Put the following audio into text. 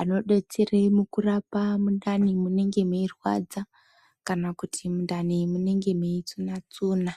anodetsere mukurapa mundani munenge meirwadza, kana kuti mundani munenge meitsuna-tsuna.